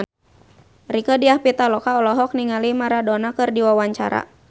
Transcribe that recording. Rieke Diah Pitaloka olohok ningali Maradona keur diwawancara